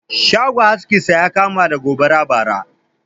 Shagon askin sa ya kama da gobara bara